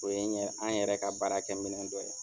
O ye ye an yɛrɛ ka baara kɛ minɛn dɔ ye.